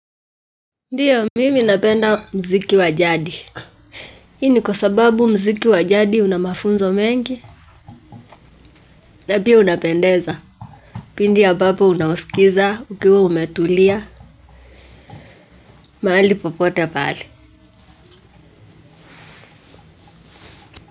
Ndiyo, mimi napenda muziki wa jadi. Hii ni kwa sababu muziki wa jadi una mafunzo mengi, na pia unapendeza. Pindi ambapo unaosikiza ukiwa umetulia mahali popote pale.